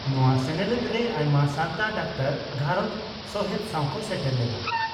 ᱱᱚᱣᱟ ᱥᱮᱱᱮᱞᱮᱫᱨᱮ ᱟᱭᱢᱟ ᱥᱟᱱᱛᱟᱲ ᱰᱟᱠᱛᱟᱨ ᱜᱷᱟᱨᱚᱸᱡᱽ ᱥᱚᱦᱮᱛ ᱥᱟᱣ ᱠᱚ ᱥᱮᱴᱮᱨ ᱞᱮᱱᱟ ᱾